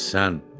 Əhsən!